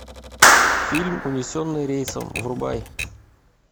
фильм унесенные рейсом врубай